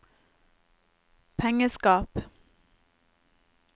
pengeskap